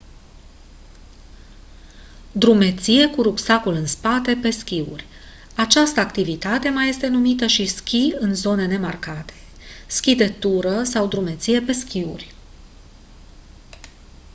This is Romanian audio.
drumeție cu rucsacul în spate pe schiuri această activitate mai este numită și schi în zone nemarcate schi de tură sau drumeție pe schiuri